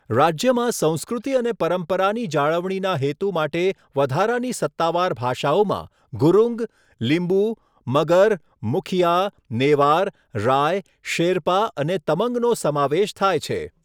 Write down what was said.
રાજ્યમાં સંસ્કૃતિ અને પરંપરાની જાળવણીના હેતુ માટે વધારાની સત્તાવાર ભાષાઓમાં ગુરુંગ, લિંબુ, મગર, મુખિયા, નેવાર, રાય, શેરપા અને તમંગનો સમાવેશ થાય છે.